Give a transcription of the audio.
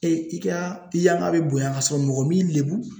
Ee i ka yanga be bonya ka sɔrɔ mɔgɔ m'i lebu